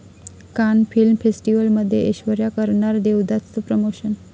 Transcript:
कान फिल्म फेस्टिवलमध्ये ऐश्वर्या करणार 'देवदास'चं प्रमोशन